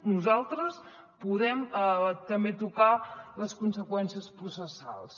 nosaltres podem també tocar les conseqüències processals